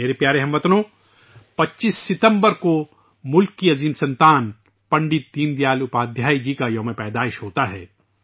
میرے پیارے ہم وطنو ، 25 ستمبر کو ملک کے عظیم سپوت پنڈت دین دیال اپادھیائے جی کا یوم پیدائش ہے